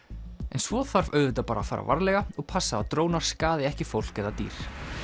en svo þarf auðvitað bara að fara varlega og passa að drónar skaði ekki fólk eða dýr